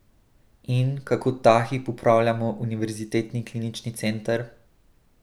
In, kako ta hip upravljamo Univerzitetni klinični center?